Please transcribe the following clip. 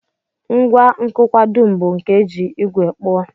Ngwa nkụkwa dum bu nke e ji ígwè kpụọ